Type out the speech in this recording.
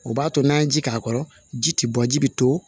O b'a to n'an ye ji k'a kɔrɔ ji tɛ bɔ ji bɛ to